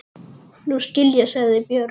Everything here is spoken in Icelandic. Nú skil ég, sagði Björg.